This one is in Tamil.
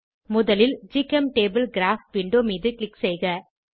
முதலில் ஜிசெம்டபிள் கிராப் விண்டோ மீது க்ளிக் செய்க